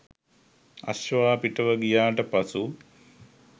අශ්වයා පිටව ගියාට පසු